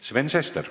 Sven Sester.